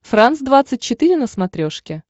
франс двадцать четыре на смотрешке